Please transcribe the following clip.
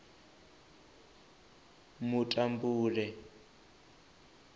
mutambule